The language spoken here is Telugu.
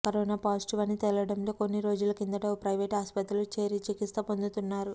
కరోనా పాజిటివ్ అని తేలడంతో కొన్ని రోజుల కిందట ఓ ప్రైవేట్ ఆసుపత్రిలో చేరి చికిత్స పొందుతున్నారు